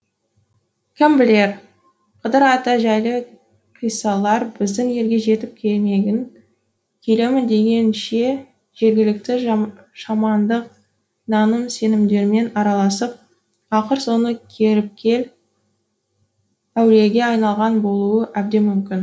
кім білер қыдыр ата жайлы қиссалар біздің елге жетіп келемін дегенше жергілікті шамандық наным сенімдермен араласып ақыр соңы көріпкел әулиеге айналған болуы әбден мүмкін